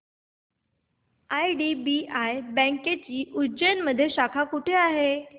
IDBI बँकेची उज्जैन मध्ये शाखा कुठे आहे